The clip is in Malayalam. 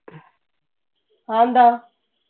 അതെന്താ?